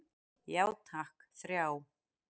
Já takk, þrjá.